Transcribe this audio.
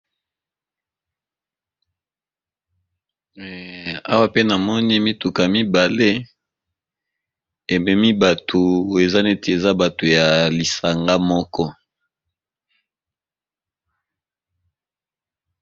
Awa pe namoni mituka mibale ememi batu eza neti eza batu ya lisanga moko.